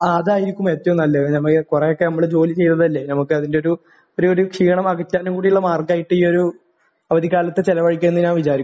ആഹ്. അതായിരിക്കും ഏറ്റവും നല്ലത്. നമ്മൾ കുറെയൊക്കെ നമ്മൾ ജോലി ചെയ്തതല്ലേ. നമുക്ക് അതിന്റെയൊരു ഒരു ഒരു ക്ഷീണം അകറ്റാനും കൂടിയുള്ള മാർഗമായിട്ട് ഈ ഒരു അവധിക്കാലത്തെ ചിലവഴിക്കാമെന്ന് ഞാൻ വിചാരിക്കുന്നു.